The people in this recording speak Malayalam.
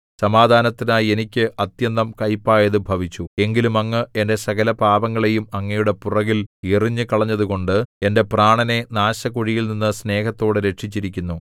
സമാധാനത്തിനായി എനിക്ക് അത്യന്തം കൈപ്പായതു ഭവിച്ചു എങ്കിലും അങ്ങ് എന്റെ സകലപാപങ്ങളെയും അങ്ങയുടെ പുറകിൽ എറിഞ്ഞുകളഞ്ഞതുകൊണ്ട് എന്റെ പ്രാണനെ നാശകുഴിയിൽനിന്നു സ്നേഹത്തോടെ രക്ഷിച്ചിരിക്കുന്നു